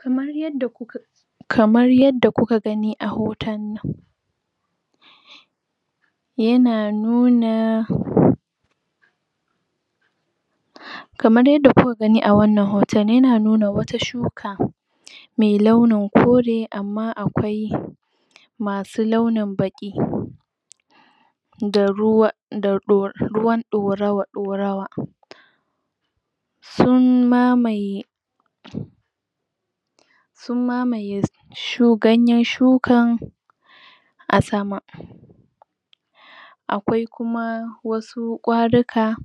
Kamar yadda kuka kamar yadda kuka gani a hoton nan yana nuna? kamar yadda kuka gani a wannan hoton, yana nuna wata shuka mai launin kore, amma akwai masu launin baƙi da ruwa da ɗo, ruwan ɗorawa ɗorawa sun mamaye sun mamaye shu ganyen shukan a sama akwai kuma wasu ƙwaruka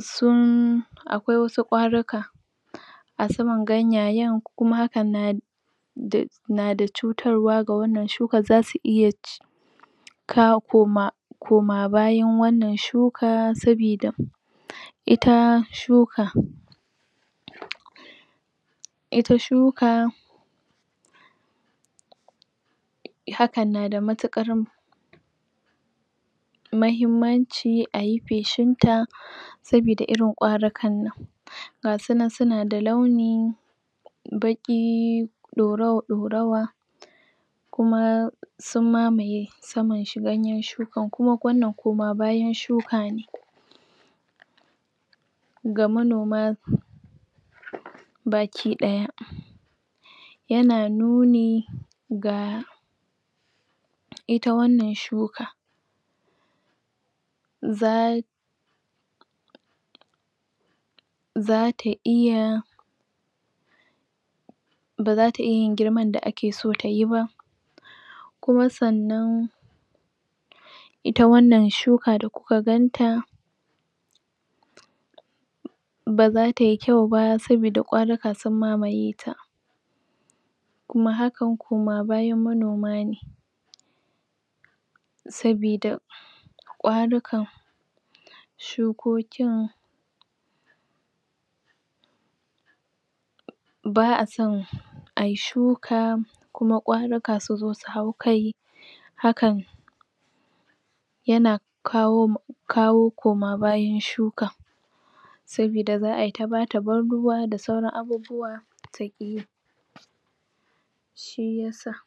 sun akwai wasu ƙwaruka a saman ganyayen, kuma hakan na da, na da cutarwa ga wannan shukar, zasu iya ci kawo koma koma bayan wannan shuka sabida ita shuka ita shuka hakan na da mutuƙar mahimmanci ayi feshin ta sabida irin ƙwarukan nan ga su nan suna da launi baƙi ɗorawa-ɗorawa kuma sun mamaye saman shi ganyen shukan, kuma wannan koma bayan shuka ne ga manoma baki ɗaya yana nuni ga ita wannan shuka za zata iya bazata iya yin girman da ake so tayi ba kuma sannan ita wannan shuka da kuka ganta baza tai kyau ba, sabida ƙwaruka sun mamaye ta kuma hakan koma bayan manoma ne sabida ƙwarukan shukokin ba a son ai shuka kuma ƙwaruka suzo su hau kai hakan yana kawo kawo koma bayan shuka sabida za ai ta bata ban ruwa da sauran abubuwa, ta ƙi yi shi yasa.